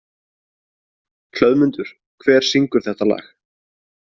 Hlöðmundur, hver syngur þetta lag?